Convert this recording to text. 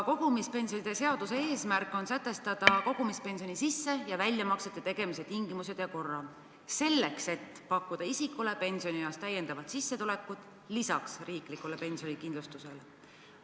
Kogumispensionide seaduse eesmärk on sätestada kogumispensioni sisse- ja väljamaksete tegemise tingimused ja kord selleks, et pakkuda isikule pensionieas täiendavat sissetulekut lisaks riiklikule pensionikindlustusele.